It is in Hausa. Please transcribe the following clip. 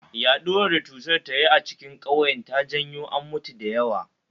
Yaɗuwar da cutar ta yi a cikin kauyen ta janyo an mutu da yawa